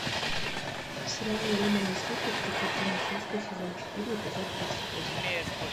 сериал лемони сникет тридцать три несчастья сезон четыре эпизод двадцать восемь